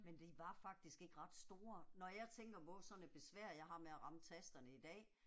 Men de var faktisk ikke ret store. Når jeg tænker på sådan et besvær jeg har med at ramme tasterne i dag